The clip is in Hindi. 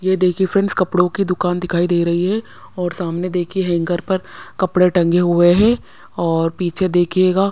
ये देखिए फ्रेंड्स कपड़ों की दुकान दिखाई दे रही है और सामने देखिए हैंगर पर कपड़े टंगे हुए हैं और पीछे देखिएगा --